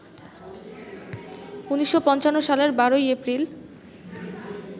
১৯৫৫ সালের ১২ই এপ্রিল